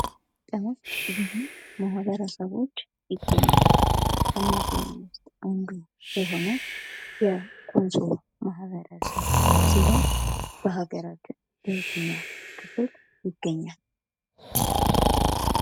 ማህበረሰቦች ይገኛሉ ከነዚህ ውስጥ አንዱ የሆነው የኮንሶ ማህበረሰብ ሲሆን በሀገራችን በየትኛው ክፍል ይገኛል?